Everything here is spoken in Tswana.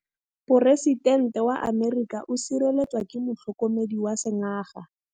Poresitêntê wa Amerika o sireletswa ke motlhokomedi wa sengaga.